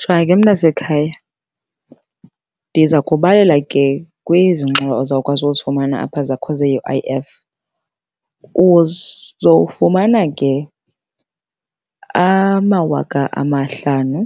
Jonga ke mntasekhaya, ndiza kubalela ke kwezi ngxowa uzawukwazi ukuzifumana zakho ze-U_I_F. Uzowufumana ke amawaka amahlanu